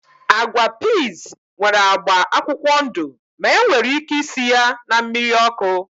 Agwa piiz nwere agba akwụkwọ ndụ ma enwere ike isi ya na mmiri ọkụ